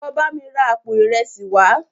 Lọ bámi ra àpò ìresì wàá!